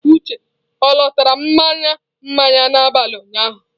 Uche ọ lọtara mmanya mmanya n'abalị ụnyaahụ